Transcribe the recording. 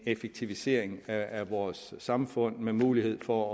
effektivisering af vores samfund med mulighed for